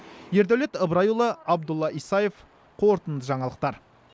ердәулет ыбырайұлы абдулла исаев қорытынды жаңалықтар